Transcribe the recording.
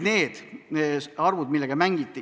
Need olid arvud, millega mängiti.